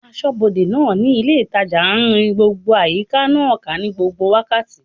Asọ́bodè náà ní ilé ìtajà n rin gbogbo àyíká náà ká ní gbogbo wákàtí